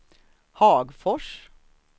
Hagfors